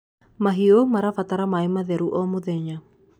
mahiũ marabatra maĩ matheru o mũthenya